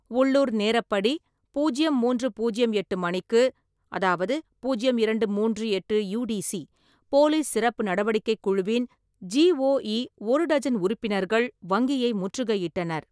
உள்ளூர் நேரப்படி பூஜ்யம் மூன்று பூஜ்யம் எட்டு மணிக்கு அதாவது (பூஜ்யம் இரண்டு மூன்று எட்டு யூடிசி) போலீஸ் சிறப்பு நடவடிக்கைக் குழுவின் (ஜிஓஇ) ஒரு டஜன் உறுப்பினர்கள் வங்கியை முற்றுகையிட்டனர்.